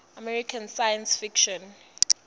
american science fiction